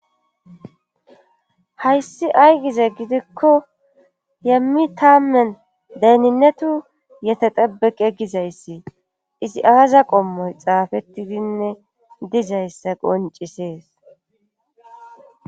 Hayssi aygize gidikko yemmi taammen deyninetu yete dabeqe gizayssi izi aaza qommoy xaafettidinne dizayssa qoncisees.